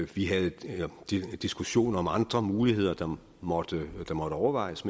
vi havde diskussioner om andre muligheder der måtte overvejes